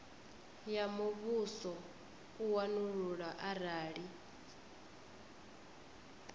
ya muvhuso u wanulula arali